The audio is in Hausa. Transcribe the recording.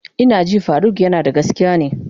Ina ji faruk yanada gaskiya ne.